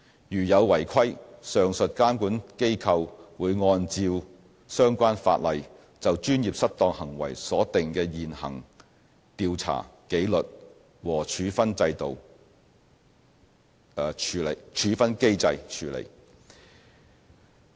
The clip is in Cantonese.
如有違規情況，上述監管機構會按照相關法例就專業失當行為所定的現行調查、紀律和處分機制處理。